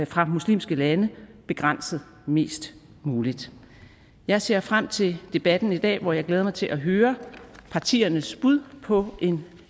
fra muslimske lande begrænset mest muligt jeg ser frem til debatten i dag hvor jeg glæder mig til at høre partiernes bud på en